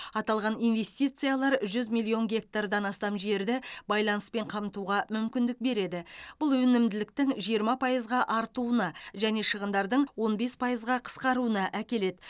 аталған инвестициялар жүз миллион гектардан астам жерді байланыспен қамтуға мүмкіндік береді бұл өнімділіктің жиырма пайызға артуына және шығындардың он бес пайызға қысқаруына әкеледі